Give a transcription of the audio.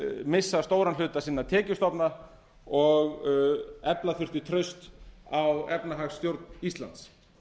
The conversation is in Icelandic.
missa stóran hluta sinna tekjustofna og efla þurfti traust á efnahagsstjórn íslands